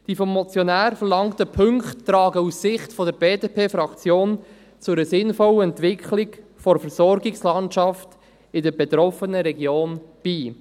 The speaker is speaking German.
Die vom Motionär verlangen Punkte tragen aus Sicht der BDP-Fraktion zu einer sinnvollen Entwicklung der Versorgungslandschaft in der betroffenen Region bei.